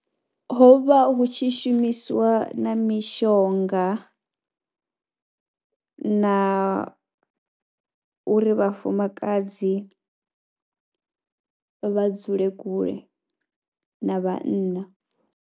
Ho vha hu tshi shumisiwa na mishonga na uri vhafumakadzi vha dzule kule na vhanna.